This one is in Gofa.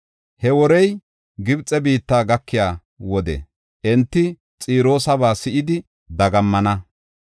He worey Gibxe biitta gakiya wode enti Xiroosaba si7idi dagammana.